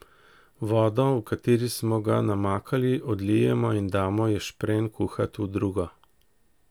Vodo, v kateri smo ga namakali, odlijemo in damo ješprenj kuhat v drugo.